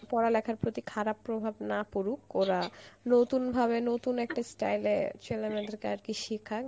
পড়ালেখার প্রতি খারাপ প্রভাব না পড়ুক ওরা নতুনভাবে নতুন একটা style এ ছেলে মেয়েদের কে আর কি সিখাক